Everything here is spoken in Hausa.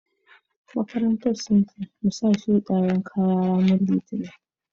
maƙarantan sun ce mu sa shuɗi kaƴa ranan litinin.